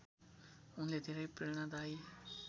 उनले धेरै प्रेरणादायी